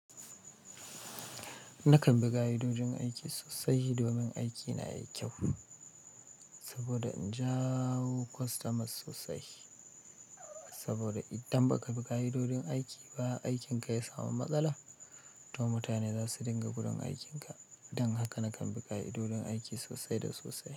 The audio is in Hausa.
Nakan bi ka'idojin aiki sosai domin aikina yayi kyau, saboda in jawo kwastamas sosai. Saboda idan ba ka bi ka'idojin aiki ba, aikinka ya samu matsala, to mutane za su dinga gudun aikinka. Don haka nakan bi ka'idojin aiki sosai da sosai.